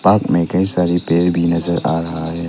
आप में कई सारे पेड़ भी नजर आ रहा है।